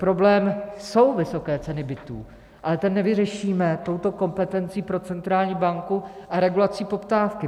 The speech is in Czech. Problém jsou vysoké ceny bytů, ale ten nevyřešíme touto kompetencí pro centrální banku a regulací poptávky.